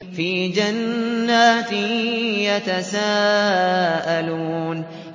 فِي جَنَّاتٍ يَتَسَاءَلُونَ